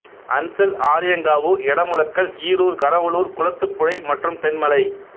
அன்சல் ஆரியங்காவு எடமுலக்கல் ஈரூர் கரவலூர் குளத்துப்புழை மற்றும் தென்மலை